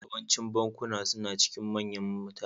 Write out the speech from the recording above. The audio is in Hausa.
Yawancin bankunan suna cikin manyan birane